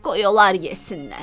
Qoy onlar yesinlər.